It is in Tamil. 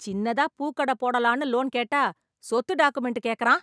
சின்னதா பூக்கட போடலான்னு லோன் கேட்டா சொத்து டாகுமெண்ட் கேக்கறான்.